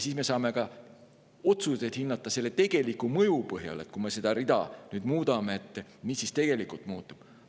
Siis me saame ka otsuseid teha ja asju hinnata tegeliku mõju põhjal ja vaadata, et kui me seda rida nüüd muudame, mis siis tegelikult muutub.